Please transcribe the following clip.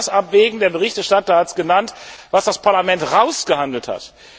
Man muss auch das abwägen der Berichterstatter hat es genannt was das Parlament ausgehandelt hat.